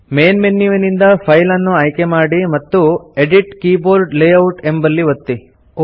main ಮೆನ್ಯುವಿನಿಂದ file ಅನ್ನು ಆಯ್ಕೆಮಾಡಿ ಮತ್ತು ಎಡಿಟ್ ಕೀಬೋರ್ಡ್ ಲೇಯೌಟ್ ಎಂಬಲ್ಲಿ ಒತ್ತಿ